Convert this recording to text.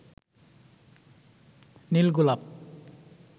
নীল গোলাপ